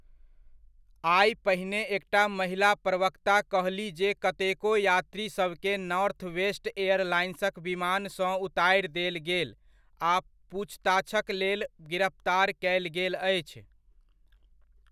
आइ पहिने एकटा महिला प्रवक्ता कहलीह जे कतेको यात्रीसभकेँ नॉर्थवेस्ट एयरलाइंसक विमानसँ उतारि देल गेल आ पूछताछक लेल गिरफ्तार कयल गेल अछि।